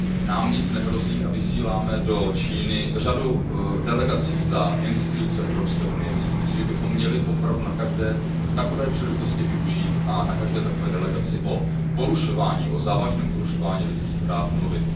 Nám nic nehrozí a vysíláme do Číny řadu delegací za instituce Evropské unie, myslím si, že bychom měli opravdu každé takové příležitosti využít a na každé takové delegaci o závažném porušování lidských práv mluvit.